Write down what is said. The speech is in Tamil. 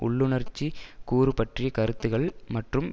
உள்ளுணர்சிக் கூறு பற்றிய கருத்துக்கள் மற்றும்